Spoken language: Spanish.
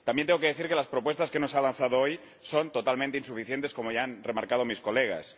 También tengo que decir que las propuestas que nos ha lanzado hoy son totalmente insuficientes, como ya han remarcado mis colegas.